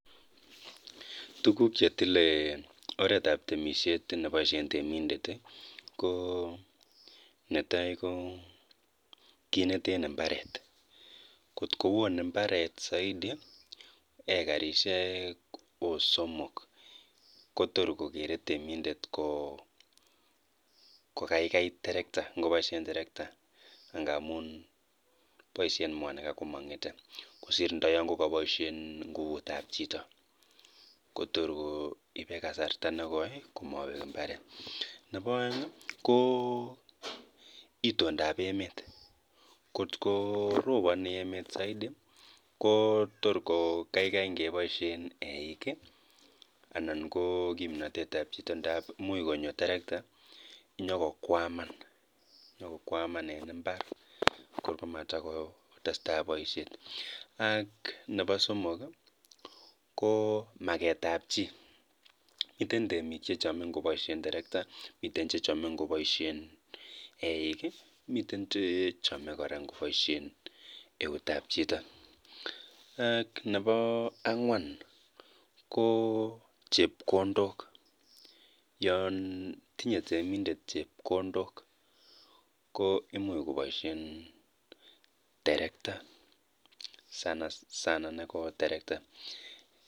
Tos nee chetile oretab temisiet neboisien temindet.